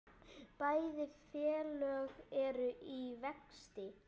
Bæði félög eru í vexti.